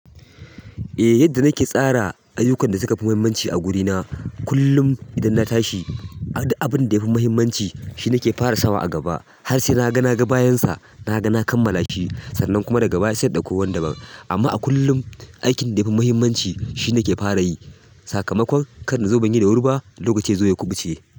Eh yadda nake tsara ayyukan da suka fi mahimmanci a wurina. Kullum idan na tashi, duk abin da yafi mahimmanci shi nake fara sawa a gaba har sai na ga na ga bayansa, na ga na kammala shi sannan kuma daga baya sai in ɗauko wani da ban. Amma a kullum aikin da yafi mahimmanci shi nake fara yi. Sakamakon kan nazo ban yi da wuri ba, lokaci yazo ya kuɓuce.